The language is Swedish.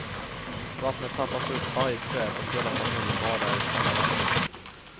Vattnet tappas upp varje kväll och hela familjen badar i samma vatten.